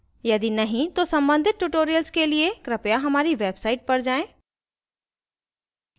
यदि नहीं तो सम्बंधित tutorials के लिए कृपया हमारी website पर जाएँ